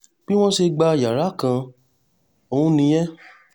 bí wọ́n ṣe gba yàrá kan ọ̀hún nìyẹn